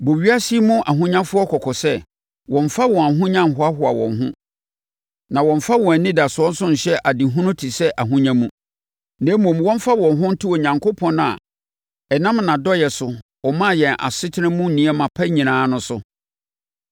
Bɔ ewiase yi mu ahonyafoɔ kɔkɔ sɛ, wɔmmfa wɔn ahonya nhoahoa wɔn ho, na wɔmmfa wɔn anidasoɔ nso nhyɛ adehunu te sɛ ahonya mu, na mmom, wɔmfa wɔn ho nto Onyankopɔn a ɛnam nʼadɔeɛ so, ɔmaa yɛn asetena mu nneɛma pa nyinaa no so.